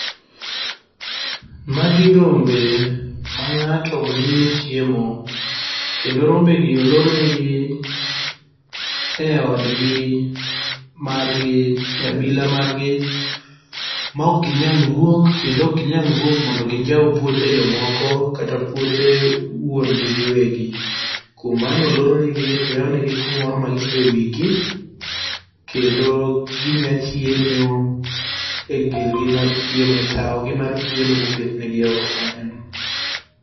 Magi rombe mangato miyo chiemo kendo rombegi olornegi e odgi margi e abila margi maok ginyal wuok kendo ok ginyal wuok mondo ginjaw puothe jomoko kata puothe wuon gi giwegi .Kuom mano olornegi to oyawnegi kumoro ma gisoye wigi kendo ginya chiemo e girgi mar chiemo ,e tao gi mar chiemo moketnegi oko kanyo no